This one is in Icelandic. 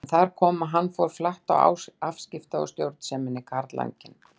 En þar kom að hann fór flatt á afskipta- og stjórnseminni, karlanginn.